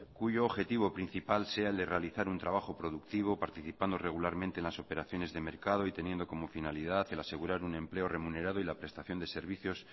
cuyo objetivo principal sea el de realizar un trabajo productivo participando regularmente en las operaciones de mercado y teniendo como finalidad el asegurar un empleo remunerado y la prestación de servicios